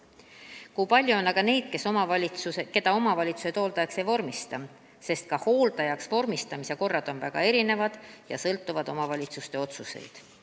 Kui palju on aga neid, keda omavalitsused hooldajaks ei vormista, sest ka hooldajaks vormistamise korrad on väga erinevad ja sõltuvad omavalitsuste otsustest?